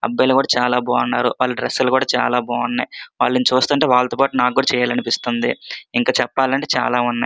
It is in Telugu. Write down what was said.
అబ్బాయి కూడా చాలా బాగుంది వాళ్ల డ్రెస్సులు కూడా చాలా బాగున్నాయి వాళ్ళను చూస్తునాటే నాకు కూడా వాళ్లతో పాటు నాకు చెయ్యాలి అనిపిస్తున్నది ఇంక చెప్పాలి అంటే చాలా ఉన్నాయి.